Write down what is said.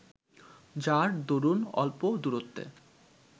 যার দরুন অল্প দূরত্বে